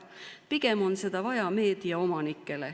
Pigem on seda vaja meediaomanikel.